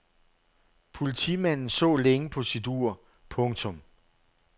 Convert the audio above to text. Politimanden så længe på sit ur. punktum